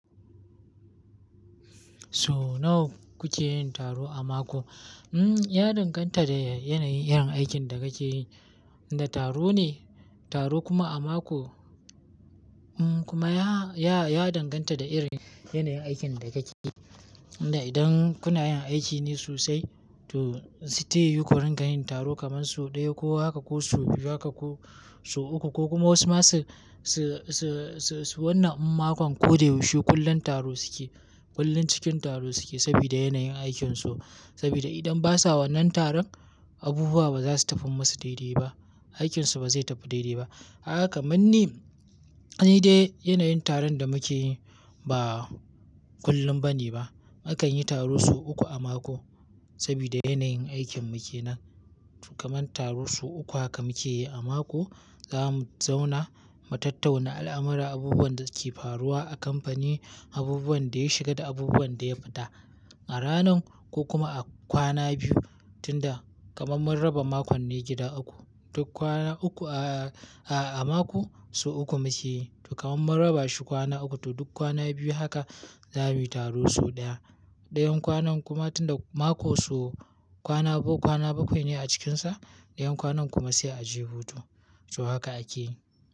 So nawa kuke yin taro a mako? Mm, ya danganta da yanayin irin aikin da kake yi. Inda taro ne, taro kuma a mako, mm kuma ya, ya, ya danganta da irin yanayin aikin da kake yi. Inda idan kuna yin aiki ne sosai to, sai ta yieu ku rinƙa yin taro kamar so ɗaya ko haka ko so biyu haka ko so uku ko kuma wasu ma su, su, su, su, su wannan mako ko da yaushe kullum taro suke. Kullum cikin taro suke sabida yanayin aikinsu. Sabida idan ba sa wannan taron, abubuwa ba za su tafi musu daidai ba. Aikinsu ba zai tafi daidai ba. Kaga kamanni, ni dai yanayin taron da muke yi ba kullum ba ne ba. A kan yi taro so uku a mako sabida yanayin aikin mu ke nan. To kaman taro so uku haka muke yi a mako, zamu zauna mu tattauna al'amura, abubuwan da suke faruwa a kamfani, abubuwan da ya shiga da abubuwan da ya fita. A ranan ko kuma a kwana biyu tunda kaman mun raba mako ne gida uku. Duk kwana uku a, a, a mako so uku muke yi. To kaman mun raba shi kwana uku to duk kwana biyu haka zamuyi taro so ɗaya. Ɗayan kwanan kuma tunda mako so kwana bu, kwana bakwai ne a cikinsa, ɗayan kwanan kuma sai a je hutu. To haka ake yi.